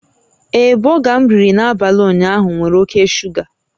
Ee, bọga m riri n'abalị ụnyaahụ nwere oke shuga